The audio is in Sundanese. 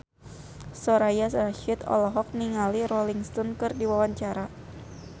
Soraya Rasyid olohok ningali Rolling Stone keur diwawancara